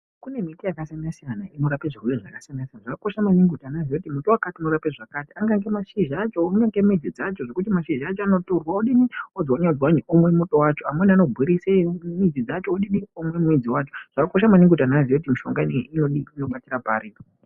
Kune miti yakasiyana siyana inorape zvirwere zvakasiyana siyana zvakakosha maningi kuti vana vaziye kuti miti dzakati dzinorape zvakati akaita mashizha acho kunyangwe midzi dzacho mashizha acho anotorwa odzwanywa dzanyiwa omwe muto wacho amweni anogurise midzi wacho umwe midzi dzacho zvakakosha maningi kuti vanhu vazive kuti mishonga ineyi inobatika pari.